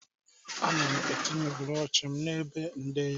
Ana m etinye bụrọshị m n'ebe nde ya.